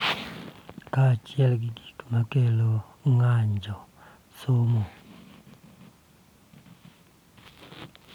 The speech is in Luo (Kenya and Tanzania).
Kaachiel gi gik ma kelo ng�anjo, somo,